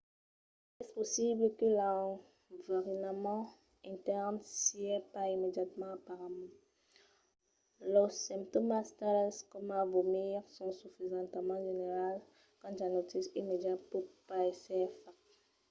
es possible que l'enverinament intèrn siá pas immediatament aparent. los simptòmas tales coma vomir son sufisentament generals qu'un diagnostic immediat pòt pas èsser fach